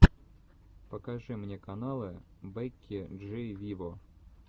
покажи мне каналы бекки джи виво